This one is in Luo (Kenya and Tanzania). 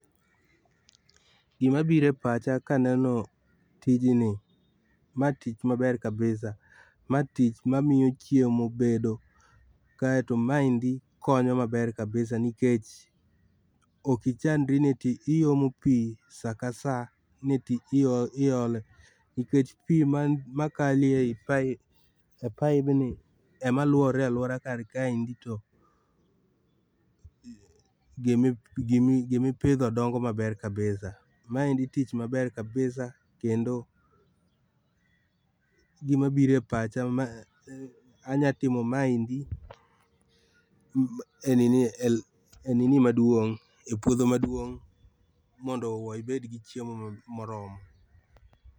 Gima biro epacha kaneno tijni, ma tich maber kabisa. Ma tich mamiyo chiemo bedo, kaeto maendi konyo maber kabisa nikech ok ichandri ni eti iomo pii saka saa ni ati iole nikech pii makalo ei pipe e paibni ema luore aluora kar kaendi, to mm gimipidho dongo maber kabisa. Maendi tich maber kabisa kendo gima biro epacha ma anya timo maendiee e nini,e nini maduong' ,epuodho maduong' mondo ibed gi chiemo moromo.